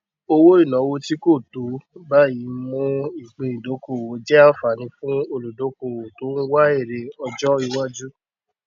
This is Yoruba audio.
owó ìnáwó tí kò tó tó báyìí ń mú ìpín ìdókòwò jẹ àǹfààní fún olùdókòwò tó ń wá èrè ọjọ iwájú